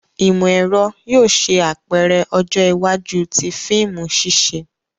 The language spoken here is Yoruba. Imọ-ẹrọ yóò ṣe apẹrẹ ọjọ iwaju ti fiimu ṣiṣe.